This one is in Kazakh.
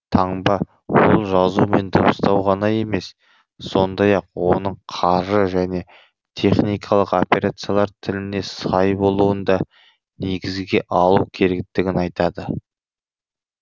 таңба ол жазу мен дыбыстау ғана емес сондай ақ оның қаржы және техникалық операциялар тіліне сай болуын да негізге алу керектігін айтады